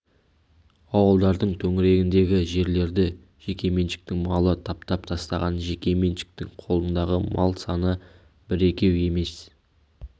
ауылдардың төңірегіндегі жерлерді жеке меншіктің малы таптап тастаған жеке меншіктің қолындағы мал саны бір-екеу емес